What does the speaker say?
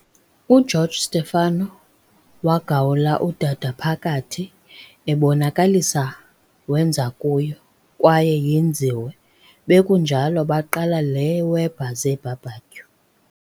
uGeorge Stefano wagawula udada phakathi, ebonakalisa wenza kuyo, kwaye yenziwe, bekunjalo baqala le Weber zeBBQ